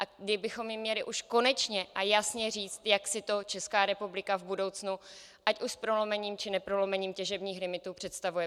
My bychom jim měli už konečně a jasně říct, jak si to Česká republika v budoucnu ať už s prolomením, či neprolomením těžebních limitů představuje.